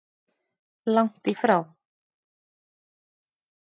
Langt í frá.